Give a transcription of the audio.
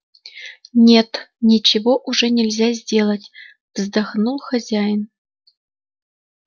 нет ничего уже нельзя сделать вздохнул хозяин